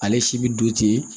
Ale si bɛ don ten